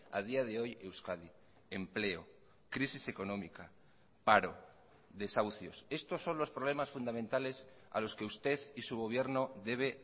a día de hoy euskadi empleo crisis económica paro desahucios estos son los problemas fundamentales a los que usted y su gobierno debe